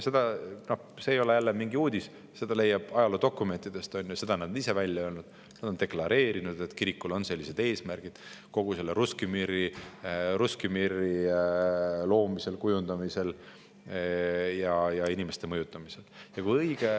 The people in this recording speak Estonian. No ee ei ole jälle mingi uudis, seda leiab ajaloodokumentidest, on ju, seda on nad ise välja öelnud: nad on deklareerinud, et kirikul on sellised eesmärgid Russki Miri loomisel, kujundamisel ja inimeste mõjutamisel.